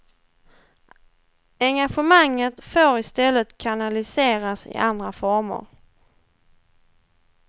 Engagemanget får i stället kanaliseras i andra former.